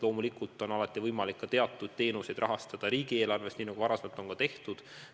Loomulikult on alati võimalik teatud teenuseid rahastada riigieelarvest, nii nagu varem on ka tehtud.